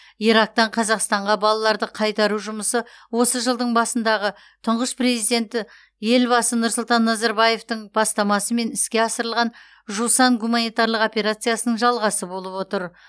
ирактан қазақстанға балаларды қайтару жұмысы осы жылдың басындағы тұңғыш президенті елбасы нұрсұлтан назарбаевтың бастамасымен іске асырылған жусан гуманитарлық операциясының жалғасы болып отыр